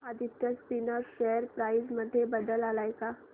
Aditya Spinners share price मध्ये बदल आलाय का